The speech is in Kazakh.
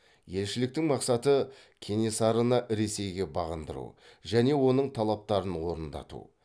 елшіліктің мақсаты кенесарыны ресейге бағындыру және оның талаптарын орындату